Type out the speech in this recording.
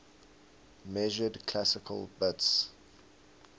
measured classical bits